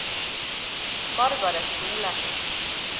Margareth Solem